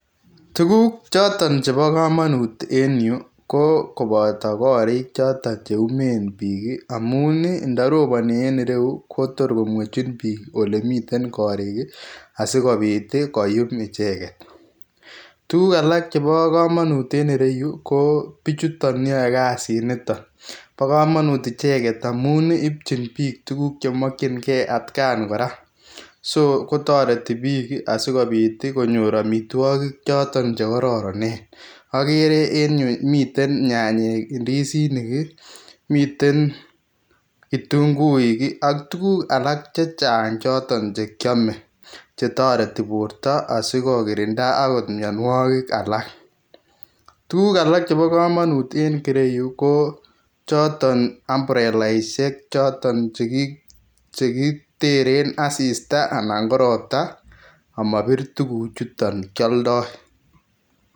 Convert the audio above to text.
Tuguk choton chebo komonut en yu ko koboto korik choton cheumen bik ii amun indoroboni en ireyu kotor komwechin bik olemiten korik ii asikobit ii koyum icheket, tuguk alak chebo komonut en ireyu kobichuton yoe kasiniton bokomonut icheket amu ipchibik tuguk chemokyingee atkan koraa ,so kotoreti bik asikonyor amitwokik choton chekororonen, okere en yu miten nyanyik ii indizinik ii miten indukuik ii ak tuguk alak chechang choton chekiome chetorti borto asikokirindaa okot mionuokik alak ,tuguk alak chebo komonut en yu kochoton umbrellaisiek choton chekiteren asista alan koropta omobir tuguchuton kioldoi.